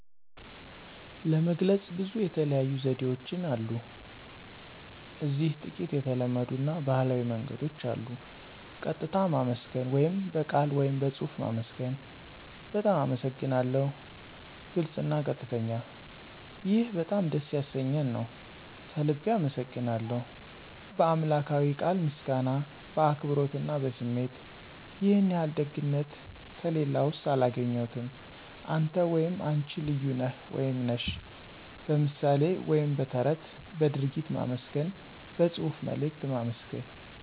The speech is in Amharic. ለመግለጽ ብዙ የተለያዩ ዘዴዎችን አሉ እዚህ ጥቂት የተለመዱ አና ባህላዊ መንገዶች አሉ። ቀጥታ ማመስገን (በቃል ወይም በጽሑፍ ማመስገን ) "በጣም አመሰግናለሁ "(ግልጽ አና ቀጥተኛ ) "ይህ በጣም ደስ ያሰኘኝ ነው። ከልቤ አመሰግናለሁ ;" "በአምላክዊ ቃል ምስጋና በአክብሮት አና በስሜት"ይህን ያህል ደግነት ከሌላስው አላገኘሁም። አንተ /አነች ልዩ ነህ /ነሽ ;" በምሣሌ ወይም በተረት በድርጊት ማመስገን በጽሑፍ መልእክት ማመስገን